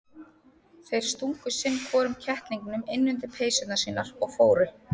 Þeir stungu sinn hvorum kettlingnum inn undir peysurnar sínar og fóru.